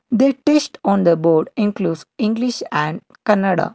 they test on the board inclues english and kannada.